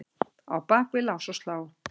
á bak við lás og slá.